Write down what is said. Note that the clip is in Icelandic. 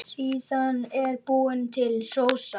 Síðan er búin til sósa.